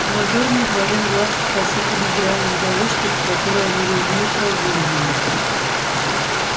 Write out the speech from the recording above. командор не отводил глаз от посыпанной гравием дорожки по которой они лениво прогуливались